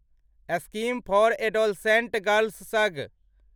scheme for adolescent girls सग